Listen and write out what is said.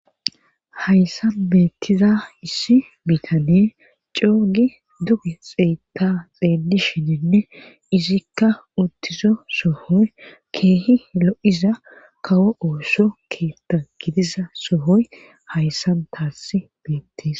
hayssan beettiza issi bitaney coo gi duge xeetta xeelishininne izikka uttizo sohoy keehi lo7iza kawo ooso keetta gidiza sohoy hayssan taassi beettes